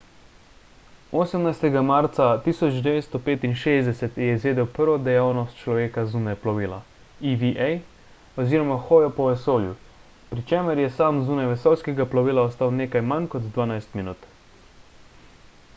18. marca 1965 je izvedel prvo dejavnost človeka zunaj plovila eva oziroma hojo po vesolju pri čemer je sam zunaj vesoljskega plovila ostal nekaj manj kot dvanajst minut